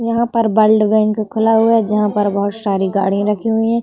यहाँ पर blood bank खुला हुआ है जहाँ पर बहोत सारी गाड़ी रखी हुई हैं।